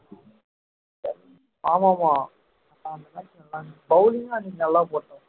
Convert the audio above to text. ஆமாமா bowling கும்அன்னைக்கு நல்லா போட்டான்